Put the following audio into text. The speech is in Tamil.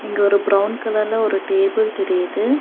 இங்கு ஒரு பிரவுன் கலர்ல ஒரு டேபிள் தெரியுது.